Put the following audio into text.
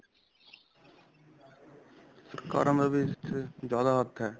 ਸਰਕਾਰਾਂ ਦਾ ਵੀ ਇਸ 'ਚ ਜਿਆਦਾ ਹੱਥ ਹੈ.